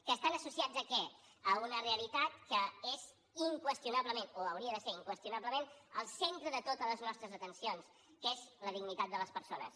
que estan associats a què a una realitat que és inqüestionablement o hauria de ser ho inqüestionablement el centre de totes les nostres atencions que és la dignitat de les persones